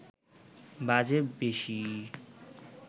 বাজে বেশি